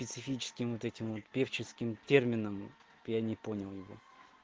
специфическим вот этим вот певческим термином я не понял его